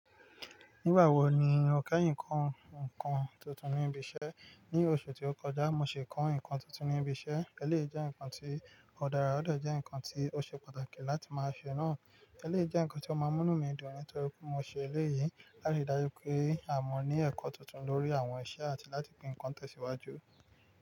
Nígbà wo ni o kẹ́yin kan nkan tuntun ní ibi iṣẹ́? Ní oṣù tí ó kọjá, mo ṣe kọ́ nǹkan tuntun ní ibi iṣẹ́. Ẹléyi jẹ́ nǹkan tí ó dára, ó dọ jẹ́ nǹkan tí ó ṣe pàtàkì láti máa ṣe náà. Ẹléyi jẹ́ nǹkan tí ó máa mú inu mi dùn nítorí pé mo ṣe eléyìí láti ri dájú pé a mọ̀ ní ẹ̀kọ́ tuntun lórí àwọn iṣẹ́ àti láti pín ǹkan tẹ̀síwájú.